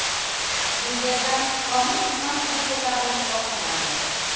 Bu yerdan Pomir tizmasiga ko‘tarilish boshlanadi.